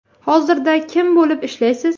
Hozirda kim bo‘lib ishlaysiz?